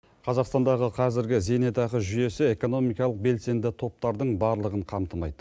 қазақстандағы қазіргі зейнетақы жүйесі экономикалық белсенді топтардың барлығын қамтымайды